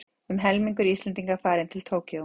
Um helmingur Íslendinga farinn frá Tókýó